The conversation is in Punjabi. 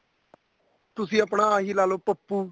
ਤੁਸੀਂ ਆਪਣਾ ਆਹੀ ਲਾਲੋ ਪੱਪੂ